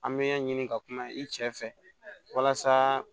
An bɛ ɲɛ ɲini ka kuma i cɛ fɛ walasa